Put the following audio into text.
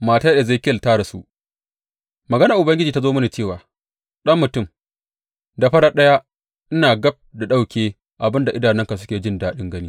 Matar Ezekiyel ta rasu Maganar Ubangiji ta zo mini cewa, Ɗan mutum, da farat ɗaya ina gab da ɗauke abin da idanunka suke jin daɗin gani.